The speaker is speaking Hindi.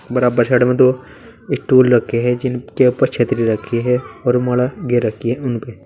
बराबर साइड में दो स्टूल रखे हैं जिनके ऊपर छतरी रखी है और माला घेर रखी है उनपे।